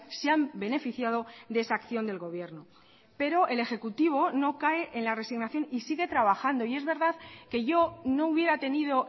se han beneficiado de esa acción del gobierno pero el ejecutivo no cae en la resignación y sigue trabajando y es verdad que yo no hubiera tenido